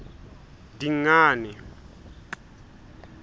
dingane